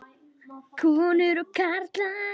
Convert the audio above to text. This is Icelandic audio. Konur og karlar.